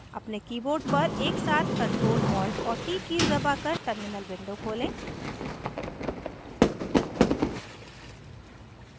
अपने keyboard पर एक साथ ctrl alt और t कीज़ दबाकर terminal window खोलें